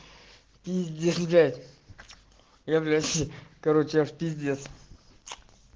пиздишь блять я блять короче я в пиздец